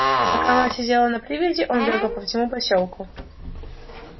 пока мать сидела на привязи он бегал по всему посёлку